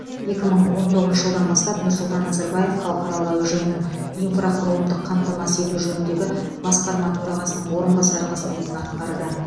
екі мың он тоғызыншы жылдан бастап нұрсұлтан назарбаев халықаралық әуежайының инфрақұрылымдық қамтамасыз ету жөніндегі басқарма төрағасының орынбасары қызметін атқарды